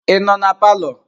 Ị nọ na palọ?